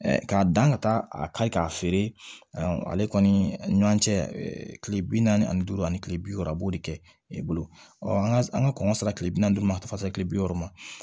K'a dan ka taa a kari k'a feere ale kɔni ɲɔ cɛ kile bi naani ani duuru ani kile bi wɔɔrɔ a b'o de kɛ i bolo ɔ an ka an ka kɔngɔ sera kile bi naani ma ka taa se kile bi wɔɔrɔ ma